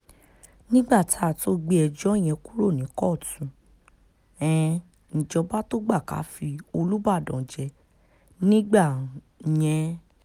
nígbà tá a tóó gbé ẹjọ́ yẹn kúrò ní kóòtù um níjọba tóo gbà ká fi olùbàdàn jẹ nígbà um yẹn